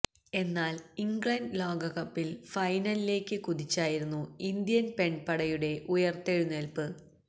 എന്നാല് ഇംഗ്ലണ്ട് ലോക കപ്പില് ഫൈനലിലേക്ക് കുതിച്ചായിരുന്നു ഇന്ത്യന് പെണ്പടയുടെ ഉയര്ത്തെഴുന്നേല്പ്പ്